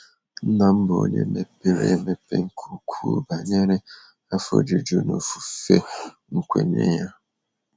Nna m bụ onye mepere emepe nke ukwuu banyere afọ ojuju n'ofufe nkwenye ya.